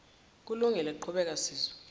kulungile qhubeka sizwe